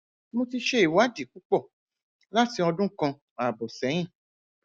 mo ti ṣe ìwádìí púpọ láti ọdún kan ààbò séyìn